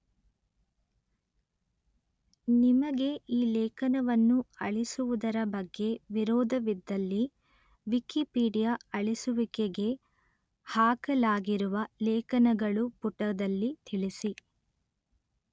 ನಿಮಗೆ ಈ ಲೇಖನವನ್ನು ಅಳಿಸುವುದರ ಬಗ್ಗೆ ವಿರೋಧವಿದ್ದಲ್ಲಿ ವಿಕಿಪೀಡಿಯ ಅಳಿಸುವಿಕೆಗೆ ಹಾಕಲಾಗಿರುವ ಲೇಖನಗಳು ಪುಟದಲ್ಲಿ ತಿಳಿಸಿ